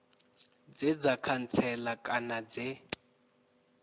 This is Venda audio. dze dza khantsela kana dze